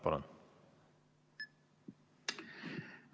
Palun!